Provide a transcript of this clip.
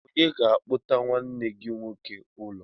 Onye ga-akpọta nwanne gị nwoke ụlọ?